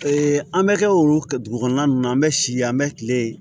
an bɛ kɛ olu ka dugu kɔnɔna ninnu na an bɛ si yen an bɛ kile